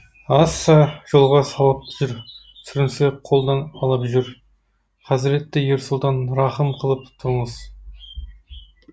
аасса жолға салып жүр сүрінсе қолдан алып жүр хазіреті ер сұлтан рақым қылып тұрыңыз